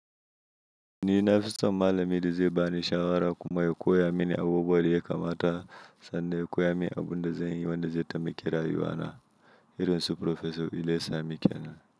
Ni nafiso malamai dazai bani shawara kuma ya koya mini abubuwanda yakamata sanda ya koya mini abunda zanyi wanda zai taimaka rayuwana, irin su Prof. Ilesanmi kenan.